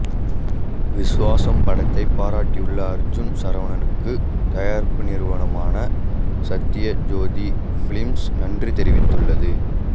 விஸ்வாசம் படத்தை பாராட்டியுள்ள அர்ஜுன் சரவணனுக்கு தயாரிப்பு நிறுவனமான சத்யஜோதி பிலிம்ஸ் நன்றி தெரிவித்துள்ளது